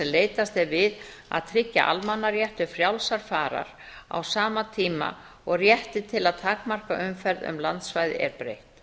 leitast er við að tryggja almannarétt til frjálsrar farar á sama tíma og rétti til að takmarka umferð um landsvæði er breytt